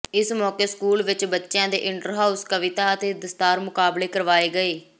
ਇਸ ਮੌਕੇ ਸਕੂਲ ਵਿਚ ਬੱਚਿਆਂ ਦੇ ਇੰਟਰ ਹਾਊਸ ਕਵਿਤਾ ਅਤੇ ਦਸਤਾਰ ਮੁਕਾਬਲੇ ਕਰਵਾਏ ਗਏ